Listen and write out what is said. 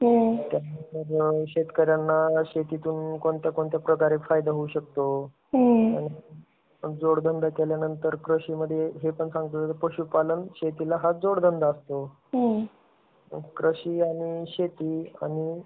त्यानंतर, शेतकऱ्यांना शेतीतून कोण कोणत्या प्रकारे फायदा होऊ शकतो? त्यानंतर जोड बांध केल्यानंतर कृषी मध्ये हे पण सांगतो कि पशुपालन शेतीला हा जोड बांध असतो. कृषी आणि शेती आणि